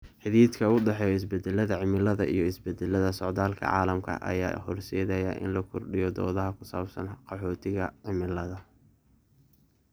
Xidhiidhka u dhexeeya isbeddelka cimilada iyo isbeddellada socdaalka caalamiga ah ayaa horseedaya in la kordhiyo doodaha ku saabsan qaxootiga cimilada.